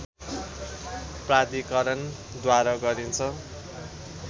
प्राधिकरणद्वारा गरिन्छ